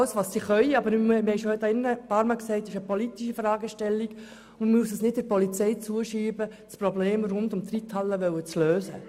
Wir haben hier im Grossen Rat bereits einige Male gesagt, das sei eine politische Fragestellung und wir dürfen die Lösung dieses Problems nicht der Polizei zuschieben.